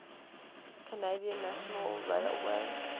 canadian national railway